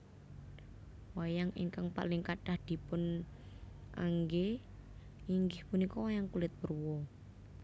Wayang ingkang paling kathah dipunanggé inggih punika wayang kulit purwa